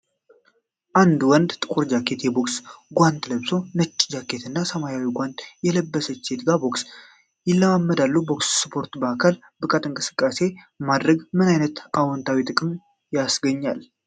አንድ ወንድ ጥቁር ጃኬትና የቦክስ ጓንት ለብሶ፣ ነጭ ጃኬትና ሰማያዊ ጓንት ከለበሰች ሴት ጋር ቦክስ ይለማመዳሉ። በቦክስ ስፖርት የአካል ብቃት እንቅስቃሴ ማድረግ ምን አይነት አዎንታዊ ጥቅሞችን ያስገኛል?